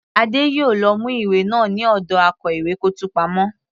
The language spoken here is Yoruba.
Adé yòó lọ mú ìwé náà ní ọ̀dọ akó ìwé kọ́ọ̀tù pamọ́.